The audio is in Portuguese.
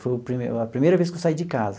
Foi o pri a primeira vez que eu saí de casa.